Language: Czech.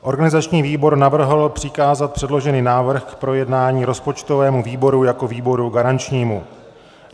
Organizační výbor navrhl přikázat předložený návrh k projednání rozpočtovému výboru jako výboru garančnímu.